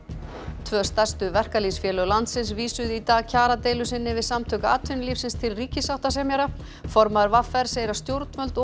tvö stærstu verkalýðsfélög landsins vísuðu í dag kjaradeilu sinni við Samtök atvinnulífsins til ríkissáttasemjara formaður v r segir að stjórnvöld og